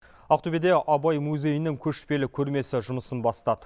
ақтөбеде абай музейінің көшпелі көрмесі жұмысын бастады